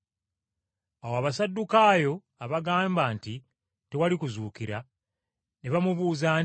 Awo Abasaddukaayo abagamba nti tewali kuzuukira, ne bamubuuza nti,